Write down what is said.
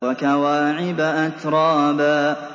وَكَوَاعِبَ أَتْرَابًا